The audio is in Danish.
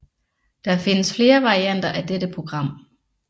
Det findes flere varianter af dette program